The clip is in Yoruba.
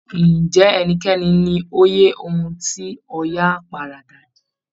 Ǹjẹ́ ẹnikẹ́ni ní òye ohun tí Ọya paradà dì?